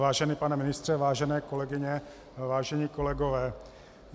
Vážený pane ministře, vážené kolegyně, vážení kolegové.